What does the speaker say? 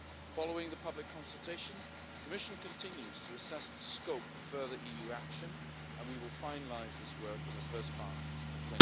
Following the public consultation, the Commission continues to assess the scope for further EU action and we will finalise this work in the first part of